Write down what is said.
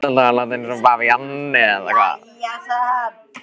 Þarftu alltaf að láta eins og bavían, eða hvað?